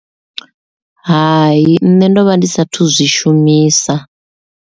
Hai nṋe ndo vha ndi sathu zwi shumisa.